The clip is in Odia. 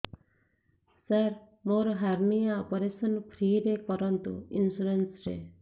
ସାର ମୋର ହାରନିଆ ଅପେରସନ ଫ୍ରି ରେ କରନ୍ତୁ ଇନ୍ସୁରେନ୍ସ ରେ